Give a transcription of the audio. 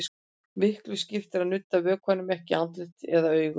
Miklu skiptir að nudda vökvanum ekki í andlit eða augu.